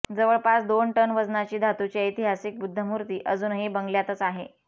जवळपास दोन टन वजनाची धातूची ऐतिहासिक बुद्धमूर्ती अजूनही बंगल्यातच आहे